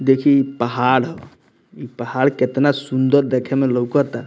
देखी इ पहाड़ हो इ पहाड़ केतना सुन्दर देखे में लौकता।